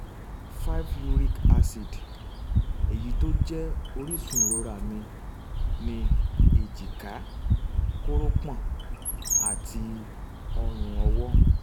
5 uric acid èyí tí ó jẹ́ orísun ìrora mi ní èjìká kórópọ̀n àti ọrùn ọwọ́